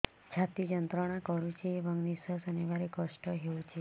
ଛାତି ଯନ୍ତ୍ରଣା କରୁଛି ଏବଂ ନିଶ୍ୱାସ ନେବାରେ କଷ୍ଟ ହେଉଛି